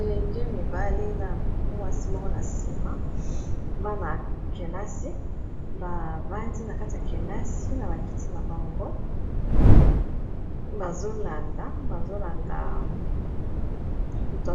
elenge mibali na mwasi moro na nsima bana ya kelasi bavandi na kati ya kelasi na bakiti na bango bazolanda bazolanda moto